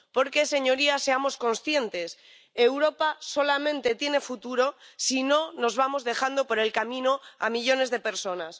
Porque, señorías, seamos conscientes Europa solamente tiene futuro si no nos vamos dejando por el camino a millones de personas.